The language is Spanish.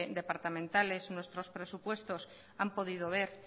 departamentales nuestros presupuestos han podido ver